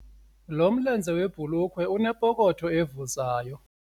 Lo mlenze webhulukhwe unepokotho evuzayo.